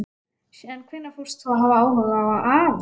Síðan hvenær fórst þú að hafa áhuga á afa?